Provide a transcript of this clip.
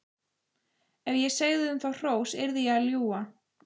Ef ég segði um þá hrós yrði ég að ljúga.